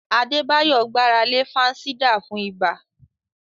Adebayo gbára lé fansidar fún ibà.